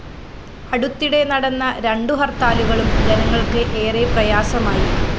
അടുത്തിടെ നടന്ന രണ്ടു ഹര്‍ത്താലുകളും ജനങ്ങള്‍ക്ക് ഏറെ പ്രയാസമായി